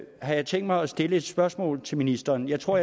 jeg tænkt mig at stille et spørgsmål til ministeren jeg tror